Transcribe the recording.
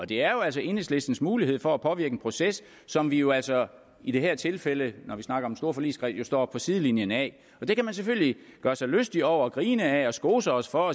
det er jo altså enhedslistens mulighed for at påvirke en proces som vi jo altså i det her tilfælde hvor vi snakker om en stor forligskreds står på sidelinjen af det kan man selvfølgelig gøre sig lystig over grine af og skose os for